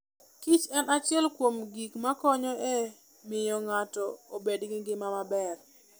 kich en achiel kuom gik makonyo e miyo ng'ato obed gi ngima maber.